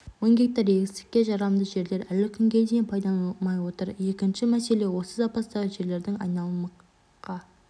мың гектар егістікке жарамды жерлер әлі күнге дейін пайдаланылмай отыр екінші мәселе осы запастағы жерлердің айналымқа